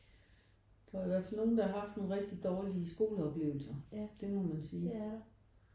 Der var i hvert fald nogen der har haft nogle virkelig dårlige skoleoplevelser. Det må man sige